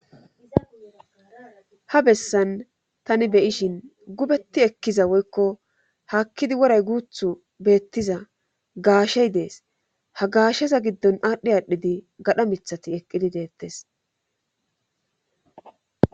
ha bessan tani beyishin gubetti ekkiza woykko hakkidi woray guuthu beettiza gaashey dees ha gaasheza giddon aadhdhi aadhdhidi gadha mithati eqqidi deettes